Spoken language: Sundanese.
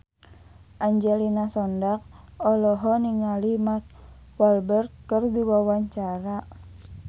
Angelina Sondakh olohok ningali Mark Walberg keur diwawancara